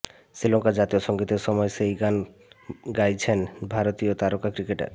শ্রীলঙ্কার জাতীয় সঙ্গীতের সময় সেই গান গাইছেন ভারতীয় তারকা ক্রিকেটার